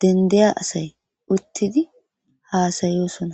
dendeya asay uttidi haasayosona